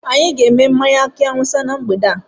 Anyị ga-èmè mmánya aki áwúsa na mgbede a